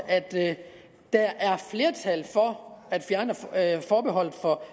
at der er flertal for at fjerne forbeholdet på